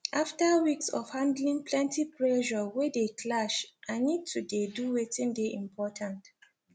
after weeks of handling plenty pressure wey dey clash i need to dey do weitin dey important